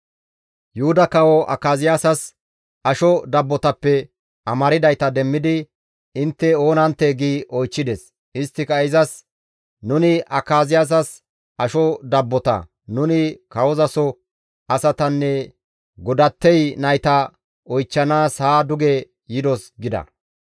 Yuhuda kawo Akaziyaasas asho dabbotappe amardayta demmidi, «Intte oonanttee?» gi oychchides. Isttika izas, «Nuni Akaziyaasas asho dabbota; nuni kawozaso asatanne godattey nayta oychchanaas haa duge yidos» gida.